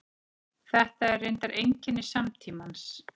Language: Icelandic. Þetta er reyndar einkenni samtímans.